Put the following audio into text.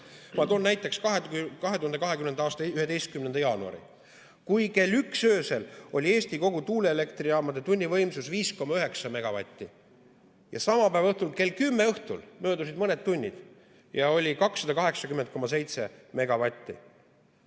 Ma toon näiteks 2020. aasta 11. jaanuari, kui kell üks öösel oli kogu Eesti tuuleelektrijaamade tunnivõimsus 5,9 megavatti, ja samal päeval kell kümme õhtul, möödunud olid mõned tunnid, oli 280,7 megavatti.